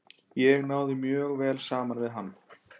Ég náði mjög vel saman við hann.